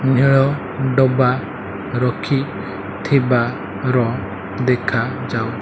ଘେଳ ଡବା ରଖିଥିବାର ଦେଖାଯାଉ --